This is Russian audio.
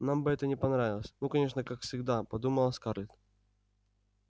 нам бы это не понравилось ну конечно как всегда подумала скарлетт